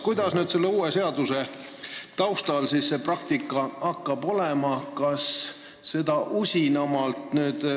Kuidas hakkab praktika selle uue seaduse kehtides olema?